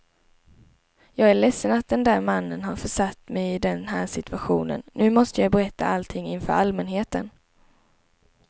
Jag är ledsen att den där mannen har försatt mig i den här situationen, nu måste jag berätta allting inför allmänheten.